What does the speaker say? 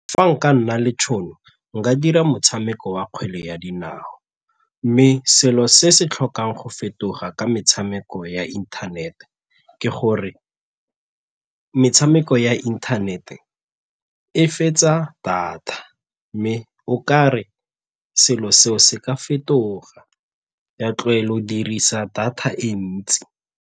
Fa nka nna le tšhono, nka dira motshameko wa kgwele ya dinao mme selo se se tlhokang go fetoga ka metshameko ya internet-e ke gore metshameko ya internet-e e fetsa data mme o ka re selo seo se ka fetoga ya tlogel'o o dirisa data e ntsi.